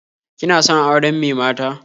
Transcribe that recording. Kina son auren me mata?